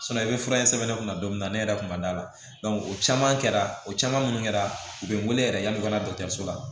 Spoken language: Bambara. i bɛ fura in sɛbɛn ne kunna don min na ne yɛrɛ kun ma d'a la o caman kɛra o caman minnu kɛra u bɛ wele yɛrɛ yanni u ka na dɔgɔtɔrɔso la